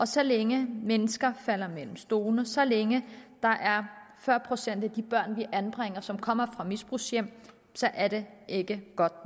så længe mennesker falder ned mellem stolene så længe der er fyrre procent af de børn vi anbringer som kommer fra misbrugshjem så er det ikke godt